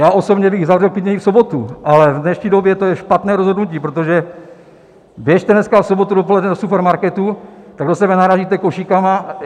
Já osobně bych zavřel klidně i v sobotu, ale v dnešní době to je špatné rozhodnutí, protože běžte dneska v sobotu dopoledne do supermarketu, tak do sebe narážíte košíkama.